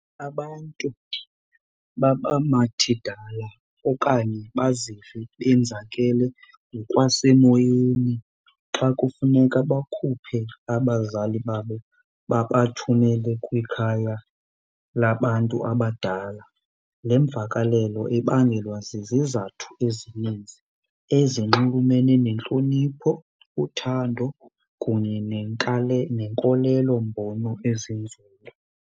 Abantu baba mathidala okanye bazive benzakele ngokwasemoyeni xa kufuneka bakhuphe abazali babo babathumele kwikhaya labantu abadala. Le mvakalelo ibangelwa zizizathu ezininzi ezinxulumene nentlonipho, uthando kunye neenkolelombono ezinzulu.